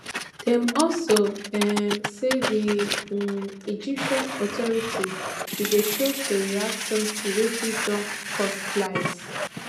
dem also um say di um egyptian authorities bin dey slow to react something wey fit don cost lives